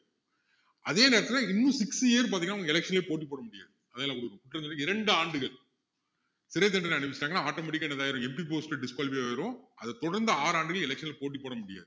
அதேநேரத்துல இன்னும் six years பாத்தீங்கன்னா உங்களுக்கு election லயே போட்டி போட முடியாது அதெல்லாம் கிட்டத்தட்ட இரண்டு ஆண்டுகள் சிறைத்தண்டனை அனுபவிச்சாங்கன்னா automatic ஆ என்னது ஆயிரும் MP post disqualify ஆயிரும் அதை தொடர்ந்து ஆறு ஆண்டுகள் election ல போட்டி போட முடியாது